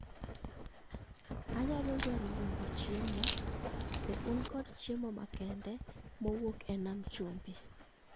Anyalo dwaro luongo chiemo, be un kod chiemo makende mowuok e nam chumbi